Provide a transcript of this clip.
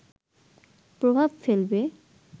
প্রভাব ফেলবে